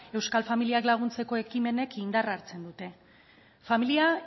euskal familiak laguntzeko ekimenek indarra hartzen duten familia